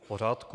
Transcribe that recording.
V pořádku.